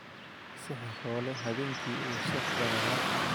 Sixiroole habeenkii wuu sixraya